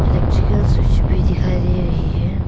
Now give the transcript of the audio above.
और एक स्विच भी दिखाई दे रही है।